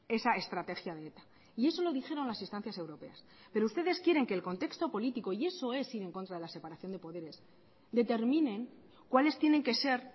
esa estrategia de eta y eso lo dijeron las instancias europeas pero ustedes quieren que el contexto político y eso es ir en contra de la separación de poderes determinen cuáles tienen que ser